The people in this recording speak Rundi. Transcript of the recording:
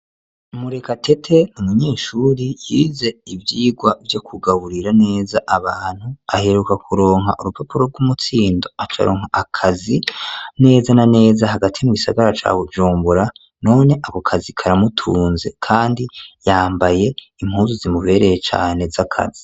Murekatete ni umunyeshuri yize ivyigwa vyo kugaburira neza abantu ,aheruka kuronka urupapuro rw'umutsindo akor' akazi neza na neza hagati mu gisagara ca Bujumbura, none ako kazi karamutunze kandi yambaye impuzu zimubereye cane z'akazi.